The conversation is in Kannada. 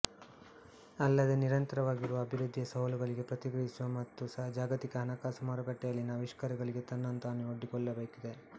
ಅಲ್ಲದೇ ನಿರಂತರವಾಗಿರುವ ಅಭಿವೃದ್ಧಿಯ ಸವಾಲುಗಳಿಗೆ ಪ್ರತಿಕ್ರಿಯಿಸುವ ಮತ್ತು ಜಾಗತಿಕ ಹಣಕಾಸು ಮಾರುಕಟ್ಟೆಯಲ್ಲಿನ ಆವಿಷ್ಕಾರಗಳಿಗೆ ತನ್ನನ್ನು ತಾನು ಒಡ್ಡಿಕೊಳ್ಳಬೇಕಿದೆ